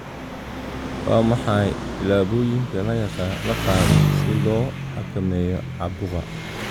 Waa maxay tillaabooyinka la qaaday si loo xakameeyo caabuqa?